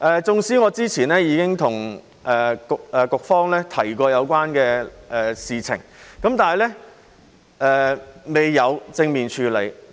縱使我之前已經向局方提及有關的事情，但局方未有正面處理。